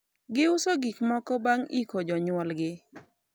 giuso gikmoko bang' iko jonyuol gi